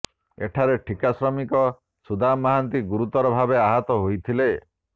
ଏଥିରେ ଠିକା ଶ୍ରମିକ ସୁଦାମ ମହାନ୍ତି ଗୁରୁତର ଭାବେ ଆହତ ହୋଇଥିଲେ